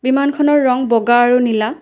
বিমানখনৰ ৰং বগা আৰু নীলা।